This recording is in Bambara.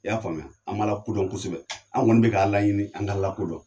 I y'a faamuya, an b'Ala ko dɔn kosɛbɛ. An kɔni bɛ k'Ala ɲini an k'Ala ko dɔn.